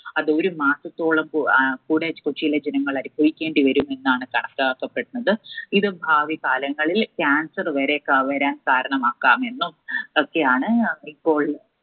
അത് ഒരു മാസത്തോളം ആഹ് കൂടെ കൊച്ചിയിലെ ജനങ്ങൾ അനുഭവിക്കേണ്ടി വരും എന്നാണ് കണക്കാക്കപ്പെടുന്നത്. ഇത് ഭാവി കാലങ്ങളിൽ Cancer വരേക്ക് ~വരാൻ കാരണമാക്കാം എന്നും ഒക്കെയാണ് ഇപ്പോൾ